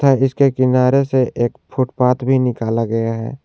इसके किनारे से एक फुटपाथ भी निकाला गया है।